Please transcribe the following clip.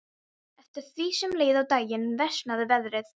Eftir því sem leið á daginn versnaði veðrið.